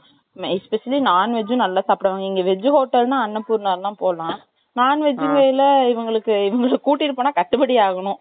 especially non veg நல்லா சாப்பிடுவாங்க இங்க veg hotel னா அன்னபூர்ணா தான் போலாம் non vegetarian இவங்களுக்கு இவங்கள குட்டுன்னு போனா கட்டுப்படி ஆகணும்.